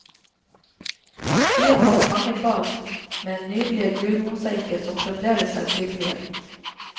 Byen hadde mange bad, med nydelige gulvmosaikker som fremdeles er synlige.